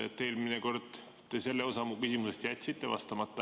Eelmine kord te sellele osale mu küsimusest jätsite vastamata.